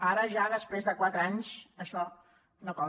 ara ja després de quatre anys això no cola